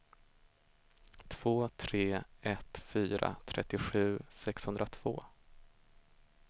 två tre ett fyra trettiosju sexhundratvå